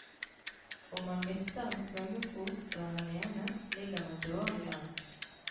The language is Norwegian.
Om man mister en svømmefot og er alene, ligger man dårlig an.